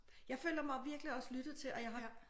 Jeg føler mig virkelig også lyttet til og jeg har